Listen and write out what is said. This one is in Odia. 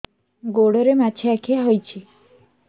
ଗୋଡ଼ରେ ମାଛଆଖି ହୋଇଛି